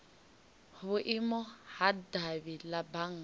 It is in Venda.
vhuimo ha davhi la bannga